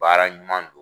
Baara ɲuman don